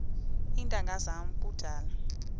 iintanga zam kudala